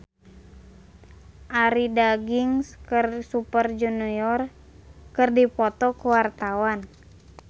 Arie Daginks jeung Super Junior keur dipoto ku wartawan